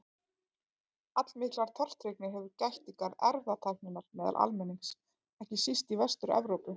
Allmikillar tortryggni hefur gætt í garð erfðatækninnar meðal almennings, ekki síst í Vestur-Evrópu.